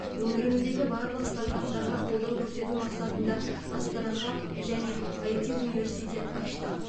өңіріміздегі барлық стартаптарға қолдау көрсету мақсатында астана хаб және іт университет аштық